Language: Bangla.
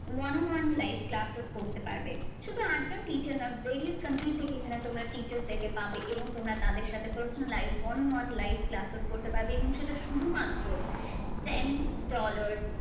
One one live classes করতে পারবে। শুধু urgent teacher না various এখানে তোমরা teachers দেরকে পাবে এবং তোমরা তাদের সাথে personal live one and one live classes করতে পারবে এবং সেটা শুধুমাত্র same dollar.